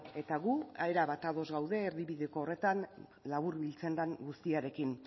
eta gu erabat ados gaude erdibideko horretan laburbiltzen den guztiarekin